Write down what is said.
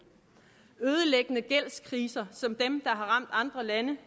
ødelæggende gældskriser som dem har ramt andre lande